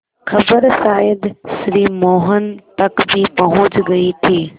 खबर शायद श्री मोहन तक भी पहुँच गई थी